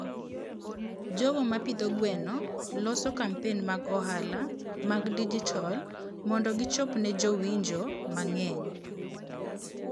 jogo ma pidho gwen loso kampen mag ohala mag digital mondo gichop ne jowinjo mang'eny.